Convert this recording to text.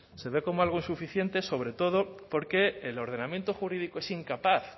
se ve como algo insuficiente sobre todo porque el ordenamiento jurídico es incapaz